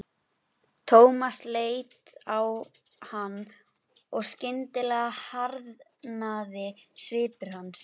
Hendur hans voru reyrðar við hnakknefið.